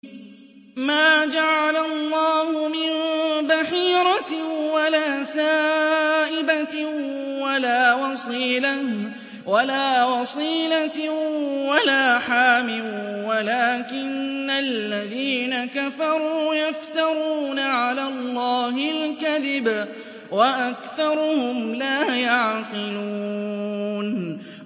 مَا جَعَلَ اللَّهُ مِن بَحِيرَةٍ وَلَا سَائِبَةٍ وَلَا وَصِيلَةٍ وَلَا حَامٍ ۙ وَلَٰكِنَّ الَّذِينَ كَفَرُوا يَفْتَرُونَ عَلَى اللَّهِ الْكَذِبَ ۖ وَأَكْثَرُهُمْ لَا يَعْقِلُونَ